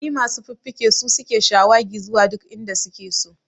Ƙwari masu fuffuke su suke shawagi zuwa duk inda suke so